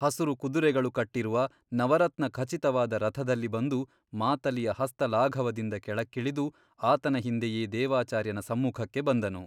ಹಸುರು ಕುದುರೆಗಳು ಕಟ್ಟಿರುವ ನವರತ್ನ ಖಚಿತವಾದ ರಥದಲ್ಲಿ ಬಂದು ಮಾತಲಿಯ ಹಸ್ತ ಲಾಘವದಿಂದ ಕೆಳಕ್ಕಿಳಿದು ಆತನ ಹಿಂದೆಯೇ ದೇವಾಚಾರ್ಯನ ಸಮ್ಮುಖಕ್ಕೆ ಬಂದನು.